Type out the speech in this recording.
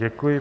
Děkuji.